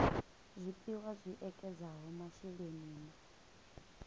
zwipia zwi ekedzaho masheleni na